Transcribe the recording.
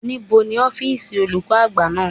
Níbo ni ọ́fíìsì olùkọ́ àgbà wà?